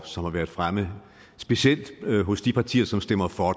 som har været fremme specielt hos de partier som stemmer for